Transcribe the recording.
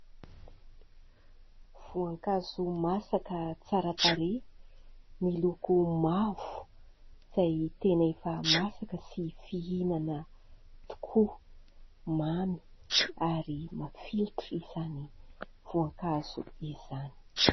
Voankazo masaka tsara tarehy miloko mavo izay tena efa masaka sy fihinana tokoa. Mamy ary mafilotra izany voankazo izany.